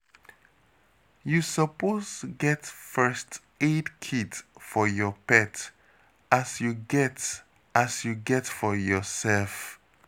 You suppose get first aid kit for your pet, as you get as you get for yoursef